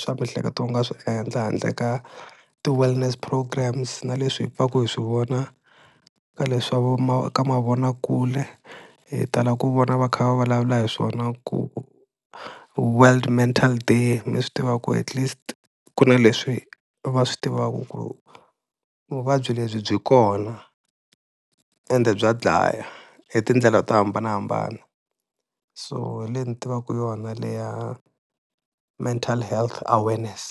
swa miehleketo wu nga swi endla handle ka ti-wellness programs na leswi hi pfaka hi swi vona ka leswa vo ma ka mavonakule hi tala ku vona va kha va vulavula hi swona, ku world mental day mi swi tiva ku at least ku na leswi va swi tivaka ku vuvabyi lebyi byi kona ende bya dlaya hi tindlela to hambanahambana, so hi leyi ni tivaka yona leya mental health awareness.